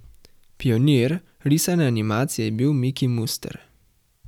Pionir risane animacije pa je bil Miki Muster.